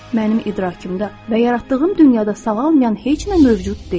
Mənim idrakımda və yaratdığım dünyada sağalmayan heç nə mövcud deyil.